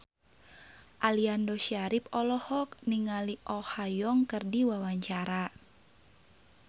Aliando Syarif olohok ningali Oh Ha Young keur diwawancara